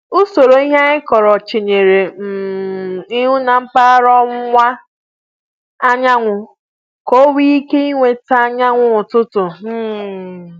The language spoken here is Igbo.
Usoro ihe anyị kọrọ chenyere um ihu na mpaghara ọwụwa anyanwụ, ka onwé ike i nweta anyanwụ ụtụtụ um